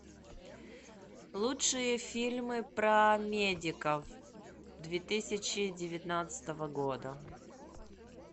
лучшие фильмы про медиков две тысячи девятнадцатого года